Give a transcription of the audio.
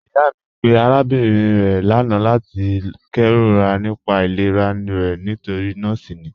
Iyà mi pẹ̀ arábìnrin rẹ̀ lána lati kèróra nípà ìlẹ̀rà rẹ̀ nítorí nọọ̀si ni.